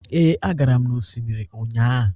ee, agaram n'osimiri ụnyahụ